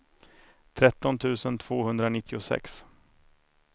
tretton tusen tvåhundranittiosex